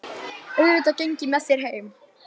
Auðvitað geng ég með þér heim